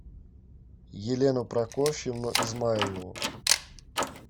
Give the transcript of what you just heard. елену прокофьевну измайлову